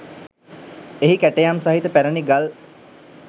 එහි කැටයම් සහිත පැරණි ගල්